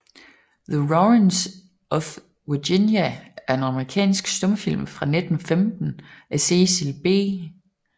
The Warrens of Virginia er en amerikansk stumfilm fra 1915 af Cecil B